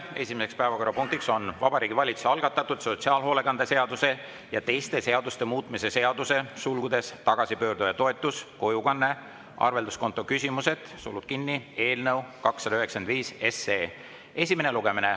Esimene päevakorrapunkt on Vabariigi Valitsuse algatatud sotsiaalhoolekande seaduse ja teiste seaduste muutmise seaduse eelnõu 295 esimene lugemine.